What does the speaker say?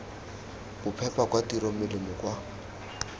bophepa kwa tirong melemo kwa